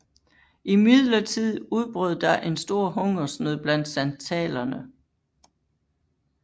Imidlertid udbrød der en stor hungersnød blandt santalerne